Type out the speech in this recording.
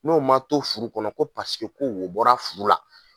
N'o man to furu kɔnɔ ko paseke ko wo bɔra furu la.